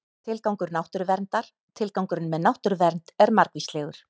Tilgangur náttúruverndar Tilgangurinn með náttúruvernd er margvíslegur.